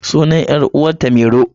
Sunan 'yar uwata mairo.